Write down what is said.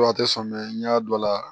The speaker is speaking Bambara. A tɛ sɔn n y'a dɔ la